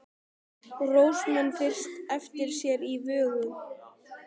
Rósa man fyrst eftir sér í vöggu!